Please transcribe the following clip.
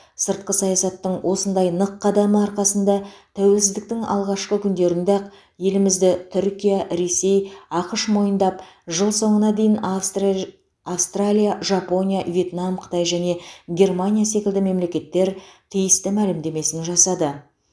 сыртқы саясаттың осындай нық қадамы арқасында тәуелсіздіктің алғашқы күндерінде ақ елімізді түркия ресей ақш мойындап жыл соңына дейін австра австралия жапония вьетнам қытай және германия секілді мемлекеттер тиісті мәлімдемесін жасады